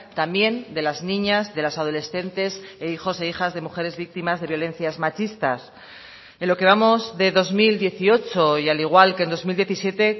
también de las niñas de las adolescentes e hijos e hijas de mujeres víctimas de violencias machistas en lo que vamos de dos mil dieciocho y al igual que en dos mil diecisiete